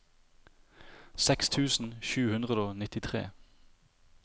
seks tusen sju hundre og nittitre